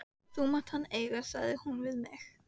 Það mátti hann eiga, segir hún við mig.